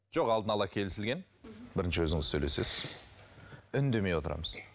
жоқ алдына ала келісілген бірінші өзіңіз сөйлесесіз үндемей отырамыз